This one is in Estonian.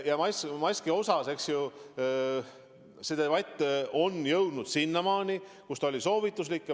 Maski osas, eks ju, on debatt jõudnud sinnamaani, et seni on see olnud soovituslik.